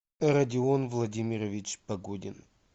родион владимирович погодин